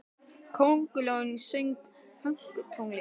Köngulóin söng pönktónlist!